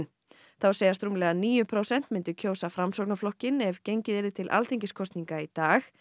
þá segjast rúmlega níu prósent myndu kjósa Framsóknarflokkinn ef gengið yrði til alþingiskosninga í dag